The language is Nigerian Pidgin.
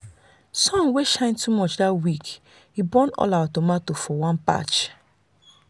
sun wey shine too much that week burn all their tomato for one patch.